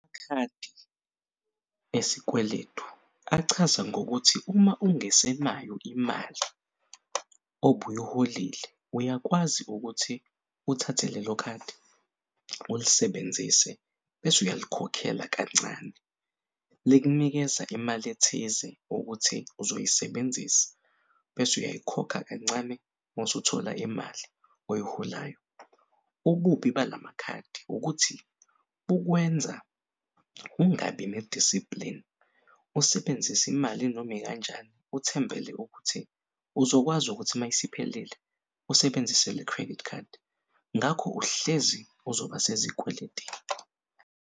Amakhadi esikweletu achaza ngokuthi uma ungesenayo imali obuy'holile uyakwazi ukuthi uthathe lelo khadi ulisebenzise bese uyalikhokhela kancane, likunikeza imali ethize ukuthi uzoyisebenzisa bese uyayikhokha kancane masuthola imali oyiholayo. Ububi balamakhadi ukuthi bukwenza ungabi ne-discipline usebenzise imali nom'ikanjani Uthembele ukuthi uzokwazi ukuthi mayisiphelile usebenzise le-credit card ngakho uhlezi uzoba sezikweletini.